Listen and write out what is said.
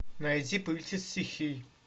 найди повелитель стихий